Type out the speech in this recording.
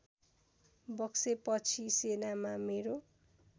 बक्सेपछि सेनामा मेरो